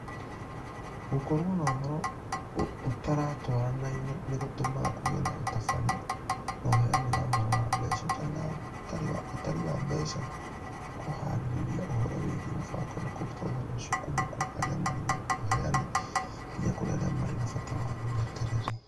Gũkorũo na ũhoro ũtaratwaranaine nĩ gũtũmaga kũgĩe na ũbatari na ũheani wa ũhoro wa mbeca. Ũtaari wa mbeca nĩ kũhaarĩria ũhoro wĩgiĩ mũbango na kũruta ũhoro ũcio kuuma kũrĩ arĩa marĩ naguo (ũheani) nginya kũrĩ arĩa marĩ na bata waguo (wetereri).